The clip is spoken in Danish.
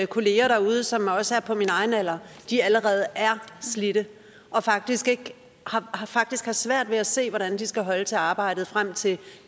kolleger derude som også er på min egen alder allerede er slidte og faktisk har faktisk har svært ved at se hvordan de skal holde til arbejdet frem til